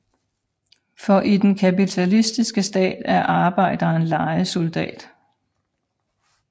For i den kapitalistiske stat er arbejderen lejesoldat